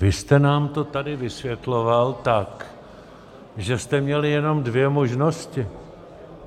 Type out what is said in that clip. Vy jste nám to tady vysvětloval tak, že jste měli jenom dvě možnosti.